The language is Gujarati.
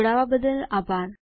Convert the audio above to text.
જોડવા બદલ આભાર